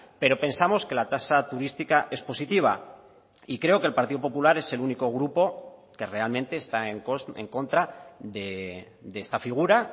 pero pensamos que la tasa turística es positiva y creo que el partido popular es el único grupo que realmente está en contra de esta figura